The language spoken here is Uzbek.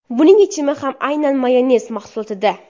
Buning yechimi ham aynan mayonez mahsulotida.